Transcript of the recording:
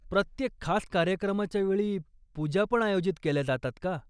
प्रत्येक खास कार्यक्रमाच्या वेळी, पूजा पण आयोजित केल्या जातात का?